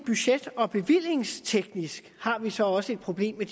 budget og bevillingsteknisk har vi så også et problem med